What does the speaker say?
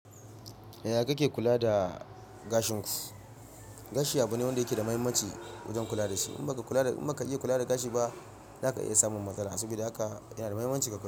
Yaya kake kula da gashin ku? Gashi abu ne wanda yake da muhimmanci wajen kula da shi. In ba ka kula da in ba ka iya kula da gashi ba, za ka iya samun matsala. Saboda haka yana da muhimmanci ka kula.